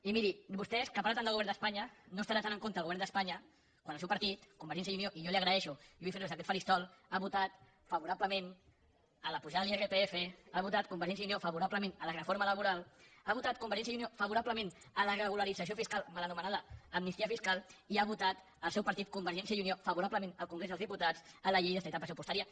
i miri vostès que parlen tant del govern d’espanya no estarà tan en contra del govern d’espanya quan el seu partit convergència i unió i jo li ho agraeixo i ho vull fer des d’aquest faristol ha votat favorablement l’apujada de l’irpf ha votat convergència i unió favorablement la reforma laboral ha votat convergència i unió favorablement la regularització fiscal mal anomenada amnistia fiscal i ha votat el seu partit convergència i unió favorablement al congrés dels diputats la llei d’estabilitat pressupostària